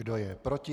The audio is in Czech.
Kdo je proti?